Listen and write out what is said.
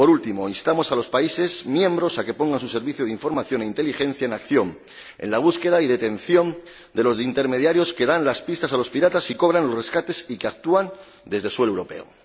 Por último, instamos a los Estados miembros a que pongan sus servicios de información e inteligencia en acción para la búsqueda y detención de los intermediarios que dan pistas a los piratas y cobran los rescates, y que actúan desde suelo europeo.